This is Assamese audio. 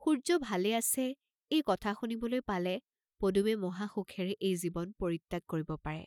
সূৰ্য্য ভালে আছে এই কথা শুনিবলৈ পালে পদুমে মহাসুখেৰে এই জীৱন পৰিত্যাগ কৰিব পাৰে।